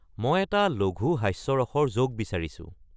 মই এটা লঘু হাস্যৰসৰ জ'ক বিচাৰিছোঁ